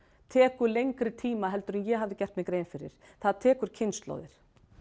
tekur lengri tíma heldur en ég hafði gert mér grein fyrir það tekur kynslóðir